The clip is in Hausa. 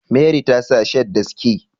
Meri ta sa shirt da sike